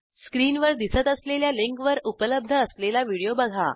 स्क्रीनवर दिसत असलेल्या लिंकवर उपलब्ध असलेला व्हिडिओ बघा